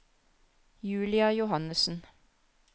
Julia Johannessen